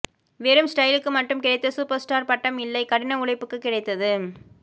வெறும் ஸ்டைல்க்கு மட்டும் கிடைத்த சூப்பர்ஸ்டார் பட்டம் இல்லை கடின உழைப்புக்கு கிடைத்தது